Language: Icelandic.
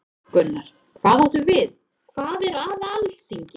Gunnar: Hvað áttu við, hvað er að Alþingi?